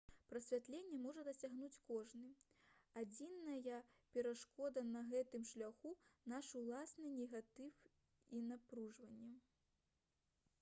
прасвятлення можа дасягнуць кожны адзіная перашкода на гэтым шляху наш уласны негатыў і напружанне